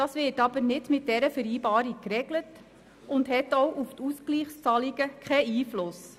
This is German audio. Das wird aber nicht mit dieser Vereinbarung geregelt und hat auch auf die Ausgleichszahlungen keinen Einfluss.